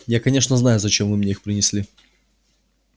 я конечно знаю зачем вы мне их принесли